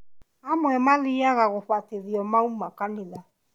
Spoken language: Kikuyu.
Amwe mathiiaga gũbatithio mauma kanitha